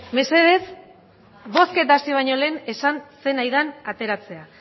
mesedez bozketa hasi baino lehen esan zer nahi den ateratzea